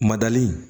Madali